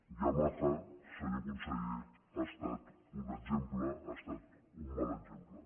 yamaha senyor conseller ha estat un exemple ha estat un mal exemple